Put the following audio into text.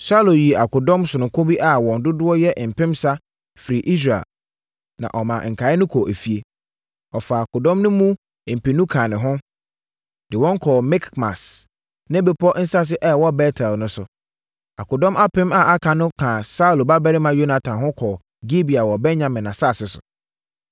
Saulo yii akodɔm sononko bi a wɔn dodoɔ yɛ mpensa firii Israel, na ɔmaa nkaeɛ no kɔɔ efie. Ɔfaa akodɔm no mu mpenu kaa ne ho, de wɔn kɔɔ Mikmas ne bepɔ nsase a ɛwɔ Bet-El no so. Akodɔm apem a aka no kaa Saulo babarima Yonatan ho kɔɔ Gibea wɔ Benyamin asase so.